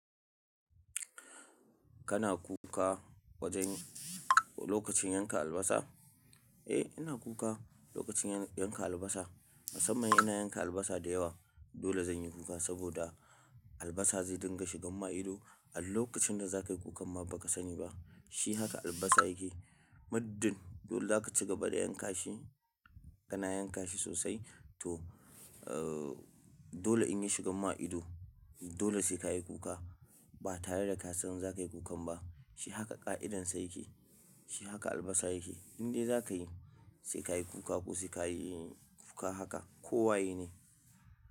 Kana kuka wajen lokacin yanka albasa? Eh ina kuka lokacin yan- yanka albasa. Musamman ina yanka albasa da yawa dole zan yi kuka saboda albasa zai dinga shigan ma ido. A lokacin da zakayi kukan ma baka sani ba. Shi haka albasa yake. Middin dole zaka cigaba da yankashi, kana yankashi sosai to, eh dole in ya shigan ma ido. Dole sai kayi kuka ba tare da ka san zakayi kukan ba. Shi haka ƙa'idansa yake. Shi haka albasa yake. Inde zakayi sai kayi kuka ko sai kayi kuka haka ko waye ne.